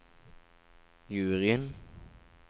juryen